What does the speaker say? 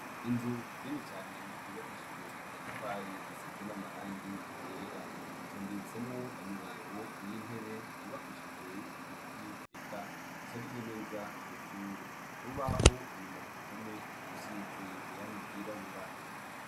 Inzu nini cane yubakishijwe amatafari, isize n'amarangi yera. Hatondetsemwo imirongo y'intebe zubakishijwe ibiti eka zisharije neza iryo shure. Ku rubaho, inyuma ku ruhome rusize irangi ryirabura.